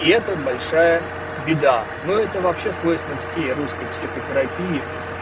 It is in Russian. и это большая беда но это вообще свойственно всей русской психотерапии